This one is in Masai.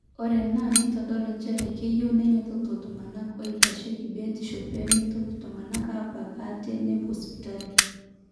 ore ena neitodolu njere keyieu neinyototo iltung'anak ooitasheiki biotishu pee meitoki iltung'anak aabak ate nepuo sipitali